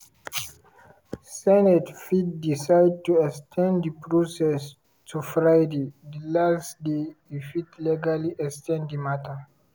senate fit decide to ex ten d di process to friday di last day e fit legally ex ten d di matter.